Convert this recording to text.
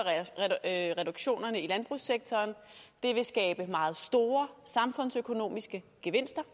reduktionerne i landbrugssektoren vil skabe meget store samfundsøkonomiske gevinster